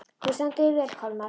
Þú stendur þig vel, Kolmar!